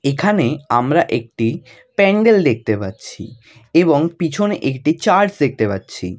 এখানে আমরা একটি প্যান্ডেল দেখতে পাচ্ছি এবং পিছনে একটি চার্চ দেখতে পাচ্ছি।